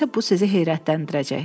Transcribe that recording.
Elə isə bu sizi heyrətləndirəcək.